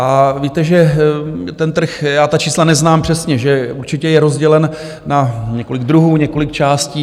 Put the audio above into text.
A víte, že ten trh, já ta čísla neznám přesně, že určitě je rozdělen na několik druhů, několik částí.